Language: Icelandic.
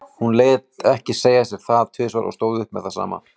Hún lét ekki segja sér það tvisvar og stóð upp með það sama.